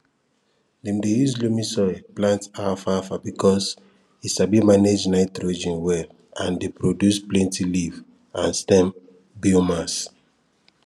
dem dey use loamy soil plant alfalfa because e sabi manage nitrogen well and dey produce plenty leaf and stem biomass